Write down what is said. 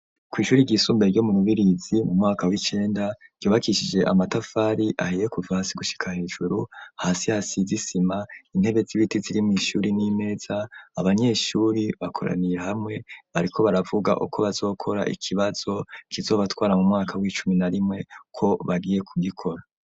kw'ishure ryisumbuye ryo mu rubirizi mu mwaka w'icenda ,ryubakishije amatafari ahiye kuva hasi gushika hejuru, hasi hasize isima, intebe z'ibiti ziri mw'ishure n'imeza, abanyeshure bakoranire hamwe bariko baravuga uko bazokora ikibazo kizobatwara mu mwaka w'icumi na rimwe ko bagiye kugikora.